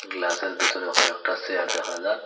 ক্লাসের ভিতরে কয়েকটা চেয়ার দেখা যা--